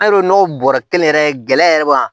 An' don n'o bɔra kelen yɛrɛ ye gɛlɛya yɛrɛ b'a